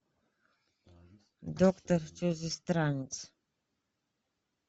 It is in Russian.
доктор чужестранец